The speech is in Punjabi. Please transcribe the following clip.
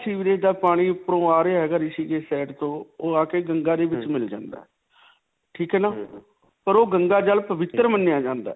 sewerage ਦਾ ਪਾਣੀ ਉਪਰੋਂ ਆ ਰਿਹਾ ਹੈਗਾ. ਰਿਸ਼ੀਕੇਸ਼ side ਤੋਂ ਓਹ ਆ ਕੇ ਗੰਗਾ ਦੇ ਵਿਚ ਮਿਲ ਜਾਂਦਾ ਹੈ. ਠੀਕ ਹੈ ਨਾ ਪਰ ਓਹ ਗੰਗਾ ਜਲ ਪਵਿਤਰ ਮੰਨਿਆ ਜਾਂਦਾ ਹੈ.